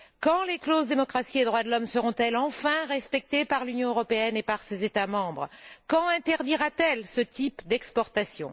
Quand les clauses démocratie et droits de l'homme seront elles enfin respectées par l'Union européenne et par ses États membres? Quand interdira t elle ce type d'exportation?